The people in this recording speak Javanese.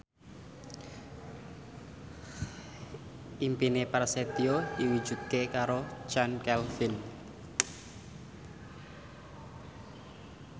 impine Prasetyo diwujudke karo Chand Kelvin